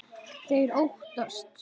Þeir óttast.